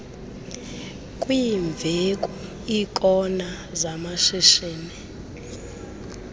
kwiimveku iikona zamashishini